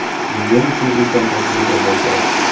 Bu – men uchun ulkan tajriba bo‘lgan”.